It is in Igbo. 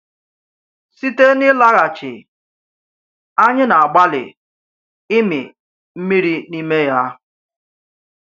Site n’ịlaghachi, anyị na-agbalị ịmị mmiri n’ime ya.